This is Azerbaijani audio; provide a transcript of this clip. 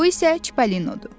Bu isə Çipolinodur.